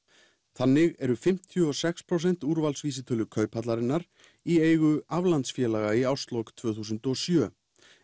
þannig eru fimmtíu og sex prósent úrvalsvísitölu Kauphallarinnar í eigu aflandsfélaga í árslok tvö þúsund og sjö